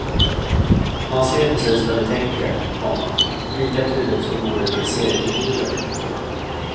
Man ser precis vad de tänker, komma lika tydligt som vore de seriefigurer. punkt